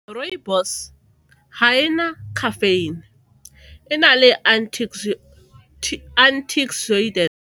Rooibos ga e na caffeine, e na le .